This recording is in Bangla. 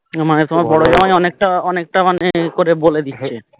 মানে তোমার বড়ো জামাই অনেকটা অনেকটা মানে বলে